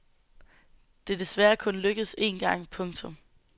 Det er desværre kun lykkedes en gang. punktum